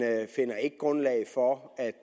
finder ikke grundlag for at